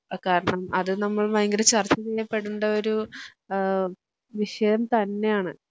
ആ കാരണം അത് നമ്മൾ ഭയങ്കര ചർച്ചചെയ്യപ്പെടേണ്ട ഒരു ഏഹ് വിഷയം തന്നെയാണ്